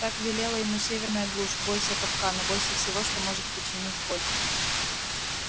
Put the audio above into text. так велела ему северная глушь бойся капкана бойся всего что может причинить боль